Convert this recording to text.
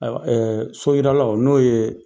So yiralaw n'o ye